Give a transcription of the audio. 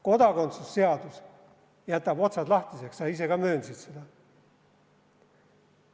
Kodakondsusseadus jätab otsad lahtiseks, sa ise ka möönsid seda.